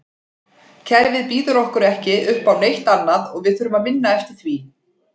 Kerfið býður okkur ekki uppá neitt annað og við þurfum að vinna eftir því.